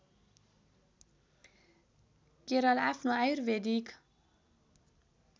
केरल आफ्नो आयुर्वेदिक